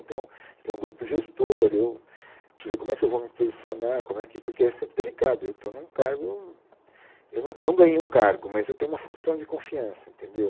Então, tem um grupo gestor, eu preciso ver como é que eu vou me posicionar como é que, porque é sempre delicado, eu estou em um cargo, eu não não ganhei um cargo, mas eu tenho uma função de confiança, entendeu?